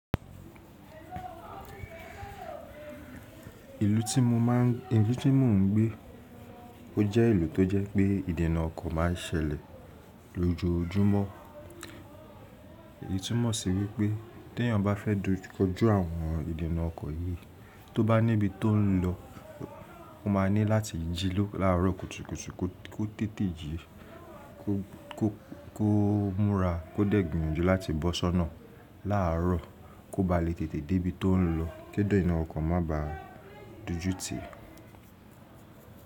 Ìlú tí mo máa ń, ìlú tí mo ń gbé ó jẹ́ ìlú tó jẹ́ pé ìdènà ọkọ̀ máa ń ṣẹlẹ̀ lójoojúmọ́. Èyí túmọ̀ sí wípé tí èèyàn bá fẹ́ dojú àwọn ìdènà ọkọ̀ yìí, tó bá níbi tó ń lọ, ó máa ní láti jí láàárọ̀ kùtùkùtù kó tètè jí, kó, kó, kó múra, kó dẹ́ gbìyànjú láti bọ́ ṣọ́nà láàárọ̀ kó ba lè tètè dé ibi tó ń lọ kí ìdènà ọkọ̀ má bá a dojútì.